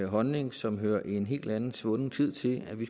holdning som hører en helt anden og svunden tid til at vi